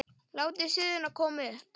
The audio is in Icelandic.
Látið suðuna koma upp.